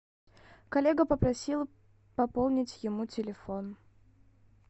коллега попросил пополнить ему телефон